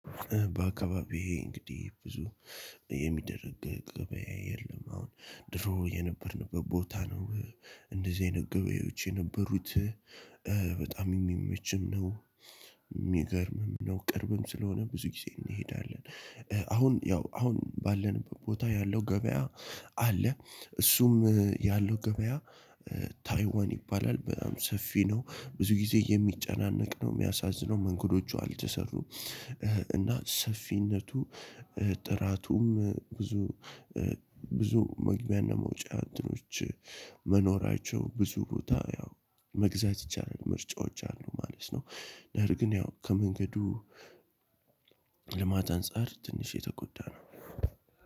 በአካባቢዬ እንግዲህ ብዙ የሚደረግ ገበያ የለም አሁን ድሮ የነበርን ቦታ ነው እንደዚህ አይነት ገበያዎች የነበሩት በጣም የሚመችም ነው። ሚገርም ነው ነው ቅርብም ስለሆነ ብዙ ጊዜ እንሄዳለን። አሁን ያ ባለንበት ቦታ ያለው ገበያ አለ እሱም ያለው ገበያ ታይዋን ይባላል በጣም ሰፊ ነው ብዙ ጊዜ የሚጨናነቅ ነው የሚያሳዝነው መንገዶቹ አልተሰሩም እና ሰፊነቱ ጥራቱም ብዙ መግቢያ እና መውጫዎች መኖራቸው ብዙ ቦታ ያው መግዛት ይቻላል። ምርጫዎች አሉ ማለት ነው። ነር ግን ያው ከመንገዱ ልማት አንፃር ትንሽ የተጎዳ ነው።